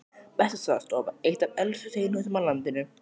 Bessastaðastofa, eitt af elstu steinhúsum á landinu.